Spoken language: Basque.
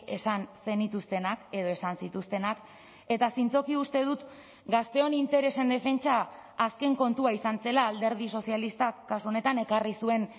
esan zenituztenak edo esan zituztenak eta zintzoki uste dut gazteon interesen defentsa azken kontua izan zela alderdi sozialistak kasu honetan ekarri zuen